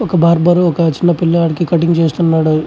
ఒక బార్బర్ ఒక చిన్న పిల్లాడికి కటింగ్ చేస్తున్నాడు.